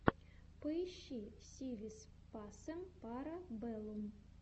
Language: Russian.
поищи си вис пасем пара бэллум